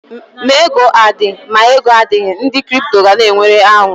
Ma ego adị, ma ego adịghị, ndị kripto gana enwe aṅụrị.